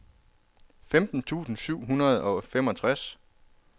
femten tusind syv hundrede og femogtres